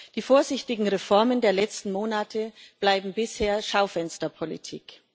Die vorsichtigen Reformen der letzten Monate bleiben bisher Schaufensterpolitik.